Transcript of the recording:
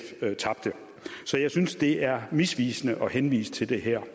tabte så jeg synes det er misvisende at henvise til det her